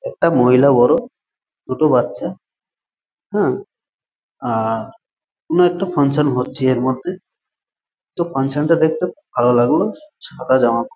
একটা মহিলা বড়ো দুটো বাচ্ছা হ্যা আ-আর কোন একটা ফাঙ্কশন হচ্ছে এর মধ্যে তো ফাঙ্কশন টা দেখতে খুব ভালো লাগলো সাদা জামা পরা --